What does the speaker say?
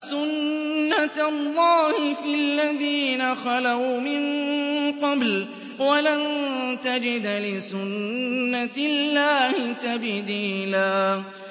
سُنَّةَ اللَّهِ فِي الَّذِينَ خَلَوْا مِن قَبْلُ ۖ وَلَن تَجِدَ لِسُنَّةِ اللَّهِ تَبْدِيلًا